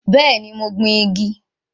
Bẹ́ẹ̀ni, mo gbìn igi